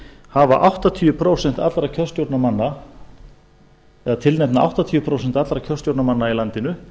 hafa áttatíu prósent allra kjörstjórnarmanna eða tilnefna áttatíu prósent allra kjörstjórnarmanna í landinu